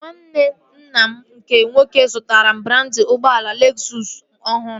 Nwanne nna m nke nwoke zụtara brandị ụgbọala Lezụs ọhụrụ